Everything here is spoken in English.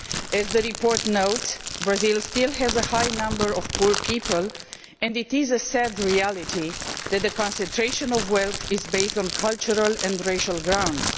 As the report notes, Brazil still has a high number of poor people and it is a sad reality that the concentration of wealth is based on cultural and racial grounds.